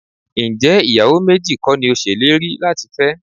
Ǹjẹ́ ìyàwó méjì kọ́ ni o ṣèlérí láti fẹ́?